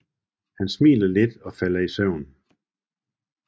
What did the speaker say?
Han smiler lidt og falder i søvn